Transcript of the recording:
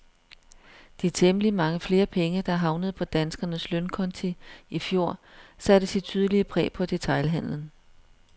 De temmelig mange flere penge, der havnede på danskernes lønkonti i fjor, satte sit tydelige præg på detailhandlen.